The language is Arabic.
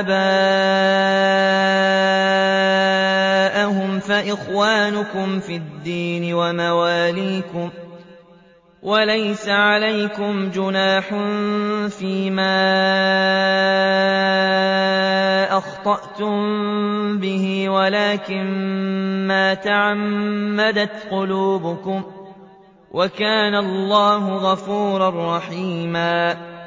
آبَاءَهُمْ فَإِخْوَانُكُمْ فِي الدِّينِ وَمَوَالِيكُمْ ۚ وَلَيْسَ عَلَيْكُمْ جُنَاحٌ فِيمَا أَخْطَأْتُم بِهِ وَلَٰكِن مَّا تَعَمَّدَتْ قُلُوبُكُمْ ۚ وَكَانَ اللَّهُ غَفُورًا رَّحِيمًا